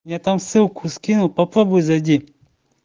мне там ссылку скинул попробуй зайди